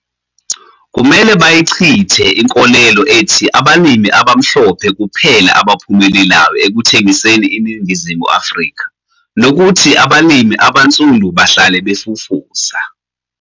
Kumele bayichithe inkolelo ethi abalimi abamhlophe kuphela abaphumelelayo ekuthengiseni eNingizimu Afrika, nokuthi abalimi abansundu bahlale 'befufusa.'